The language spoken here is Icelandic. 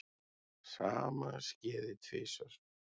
Sama skeði tvisvar.